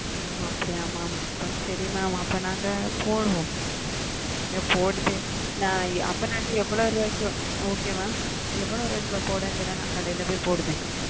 ம் அப்டியே mam சரி ந போடுற okay mam எவ்ளோ ரூபாய்க்கு போடணும் சொல்லுங் ந கடைல பொய் போடுற